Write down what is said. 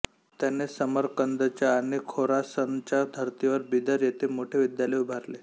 त्याने समरकंदच्या आणि खोरासनच्या धर्तीवर बिदर येथे मोठे विद्यालय उभारले